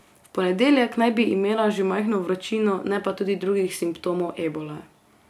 V ponedeljek naj bi imela že majhno vročino, ne pa tudi drugih simptomov ebole.